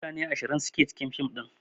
Mutane ashirin ke cikin fim din